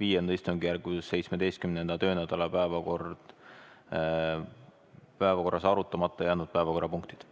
V istungjärgu 17. töönädala päevakorras arutamata jäänud päevakorrapunktid.